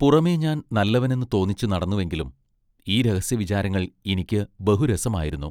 പുറമെ ഞാൻ നല്ലവനെന്ന് തോന്നിച്ചു നടന്നു എങ്കിലും ഈ രഹസ്യവിചാരങ്ങൾ ഇനിക്ക് ബഹു രസമായിരുന്നു.